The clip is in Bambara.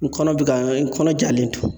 N kɔnɔ bɛ ka n kɔnɔ jalen to